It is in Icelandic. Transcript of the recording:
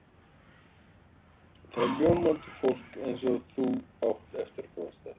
Þetta er ljómandi fólk eins og þú átt eftir að komast að.